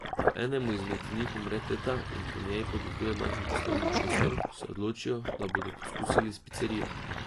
Ko enemu izmed njih umre teta in po njej podeduje majhen poslovni prostor, se odločijo, da bodo poskusili s picerijo.